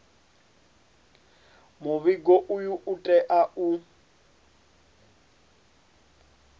muvhigo uyu u tea u